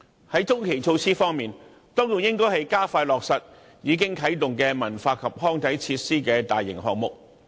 在中期措施方面，當局應該加快落實已啟動的文化及康體設施大型項目。